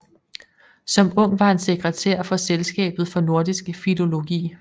Som ung var han sekretær for Selskabet for Nordisk Filologi